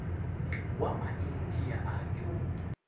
wa maindia a ke wo